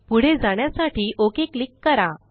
पुढे जाण्यासाठी OK click करा